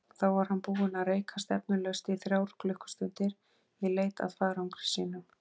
Þá var hann búinn að reika stefnulaust í þrjár klukkustundir í leit að farangri sínum.